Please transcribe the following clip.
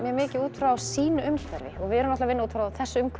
mikið út frá sínu umhverfi við erum að vinna út frá þessu umhverfi